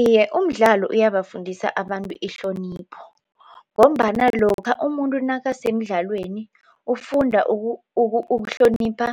Iye, umdlalo uyabafundisa abantu ihlonipho ngombana lokha umuntu nakasemdlalweni ufunda ukuhlonipha